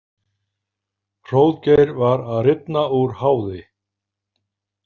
Hróðgeir var að rifna úr háði.